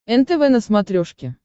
нтв на смотрешке